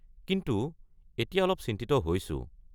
কিন্তু এতিয়া মই অলপ চিন্তিত হৈছো।